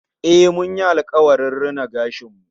Eh, mun yi alkawari rina gashin mu